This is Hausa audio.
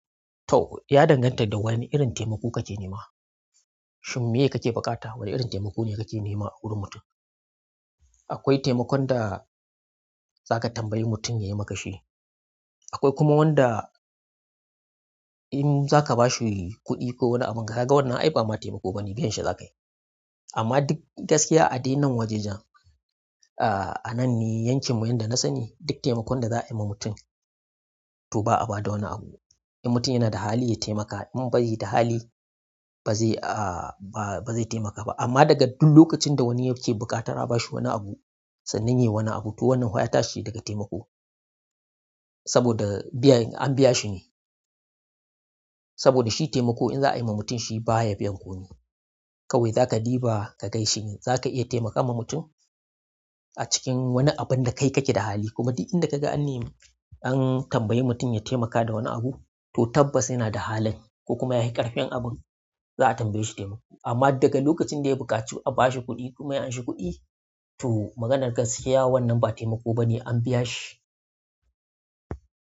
To, ya danganta da wane irin taimako kake nema. Shin meye kake buƙata? Wana irin taimako ne kake nema a wurin mutum. Akwai taimakon da za ka tambayi mutum ya yi maka shi. Akwai kuma wanda in za ka ba shi kuɗi ko wani abun ga, ka ga wannan ai ba ma taimako bane, biyan shi za ka yi. Amma duk gaskiya a dai nan wajen jan, a nan ne yankin mu, yanda na sani duk taimakon da za a yi ma mutum to ba a ba da wani abu. In mutum yana da hali ya taimaka, in bai da hali ba zai, ah ba zai taimaka ba. Amma daga duk lokacin da wani yake buƙatan a ba shi wani abu sannan yayi wani abu to wannan fa ya tashi daga taimako. Saboda biyan, an biya shi ne. Saboda shi taimako in za a yi ma mutum shi baya biyan komi. Kawai za ka ɗiba ka gan shi ne, za ka iya taimaka ma mutum a cikin wani abun da kai kake da hali kuma duk inda kaga an yi, an tambayi mutum ya taimaka da wani abu to tabbas yana da halin ko kuma yayi ƙarfin abun za a tambaye shi taimako. Amma daga lokacin da ya buƙaci a ba shi kuɗi kuma ya anshi kuɗi to maganar gaskiya wannan ba taimako bane, an biya shi.